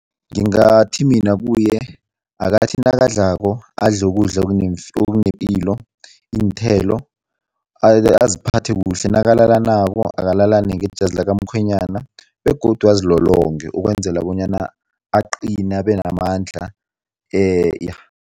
Ngingathi mina kuye akathathi nakadlalako adle ukudla okunepilo, iinthelo, aziphathe kuhle nakalalanako alalane ngejazi likamkhwenyana begodu azilolonge ukwenzela bonyana aqine, abenamandla ja.